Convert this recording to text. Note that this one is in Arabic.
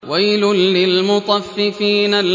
وَيْلٌ لِّلْمُطَفِّفِينَ